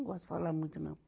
Não gosto de falar muito, não.